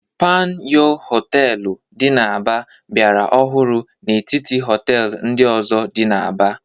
Panyụ Họteelụ dị n'Aba biara ọhụrụ n'etiti họtel ndị ọzọ. dị n'Aba.